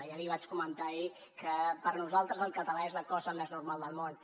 ja li vaig comentar ahir que per nosaltres el català és la cosa més normal del món